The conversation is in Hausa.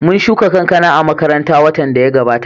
Mun shuka kankana a makaranta watan da ya gabata